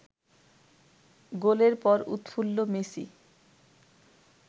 গোলের পর উৎফুল্ল মেসি